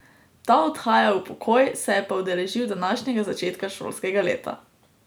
Ta odhaja v pokoj, se je pa udeležil današnjega začetka šolskega leta.